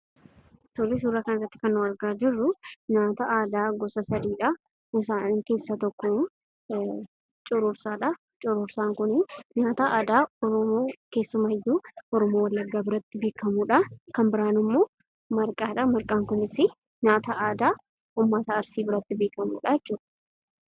Suuraa kanarratti kan nuti argaa jirru nyaata aadaa gosa sadiidha. Isaan keessaa tokko aannanidha. Inni kan biraan cororsaadha. Cororsaan kun nyaata aadaa keessumaayyuu oromoo wallaggaa biratti kan beekamudha. Kan biraan marqaadha nyaanni aadaa kunis oromoo arsii biratti kan beekamudha jechuudha.